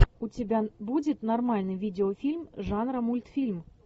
у тебя будет нормальный видеофильм жанра мультфильм